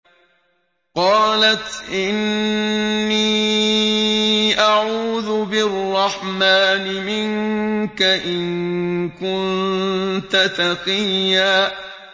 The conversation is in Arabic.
قَالَتْ إِنِّي أَعُوذُ بِالرَّحْمَٰنِ مِنكَ إِن كُنتَ تَقِيًّا